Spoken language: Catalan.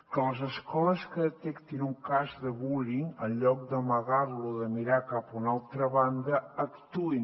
que les escoles que detectin un cas de bullying en lloc d’amagar lo o de mirar cap a una altra banda actuïn